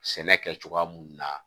Sɛnɛ kɛ cogoya mun na